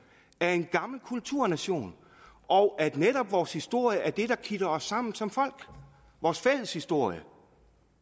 er en gammel kulturnation og at netop vores historie er det der kitter os sammen som folk vores fælles historie